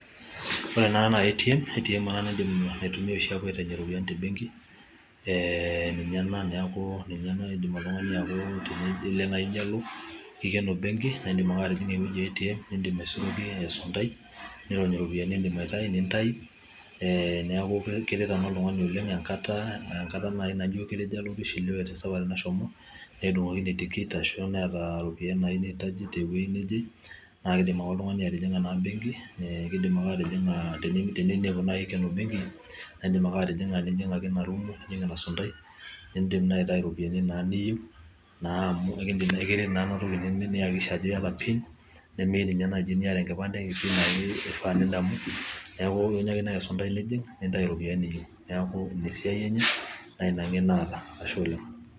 ore ena naa ATM natumiyai oshi apuo atainyie iropiyiani tebengi neeku ninye ena naa kelo naaji nijalo kikono naa idim ake asuroki esundai nirony iropiyiani naatii nintau, neuku keret naaji oltungani oleng engata naajo kishiliwe te safari nashomo netudungokine ticket ,ashu neeta iropiyiani naayieu nirajie teweji neje naakidim ake oltungani atinyinga ebengi ,naate ninepu naaji ikeno naaidim ake atijinga erumu nijing inasundai nitau iropiyiani naa niyieu niyakikisha ajo iyata pin, nemeyiu ninye naaji niata engipante neku ilo ake esuntai nitau iropiyiani niyieu.